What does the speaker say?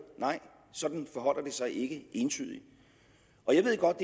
nej sådan forholder det sig ikke entydigt jeg ved godt